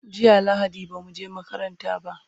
jiya lahadi bamu je makaranta ba